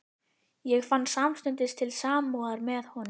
Ég fann samstundis til samúðar með honum.